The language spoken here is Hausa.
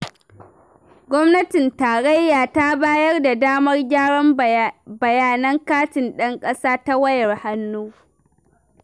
Gwamnatin Tarayya ta bayar da damar gyaran bayanan katin ɗan ƙasa ta wayar hannu.